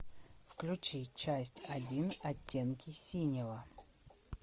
включи часть один оттенки синего